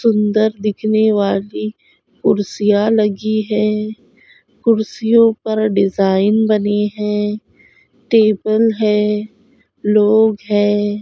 सुंदर दिखने वाली कुर्सियां लगी है कुर्सियों पर डिज़ाइन बने हुए है टेबल है लोग है।